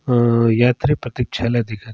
औ यात्री प्रतीक्षालय दिखत--